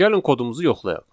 Gəlin kodumuzu yoxlayaq.